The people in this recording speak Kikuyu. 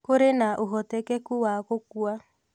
Kũrĩ na ũhotekeku wa gũkua